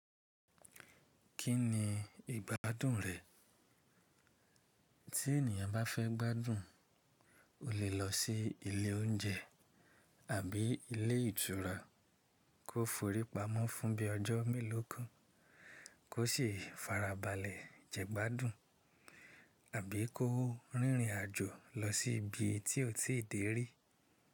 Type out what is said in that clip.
Kí ni ìgbádùn rẹ̀? Tí ènìyàn bá fẹ́ gbádùn, o lè lọ sí ilé oúnjẹ àbí ilé ìtura kó forí pamọ́ fún bí i ọjọ́ mélòó kan kó sì farabalẹ̀ jẹ gbádùn, àbí kó rìnrìn àjò lọ sí ibi tí ó ti dé rí.